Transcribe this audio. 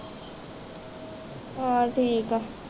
ਹੋਰ ਠੀਕ ਹੈ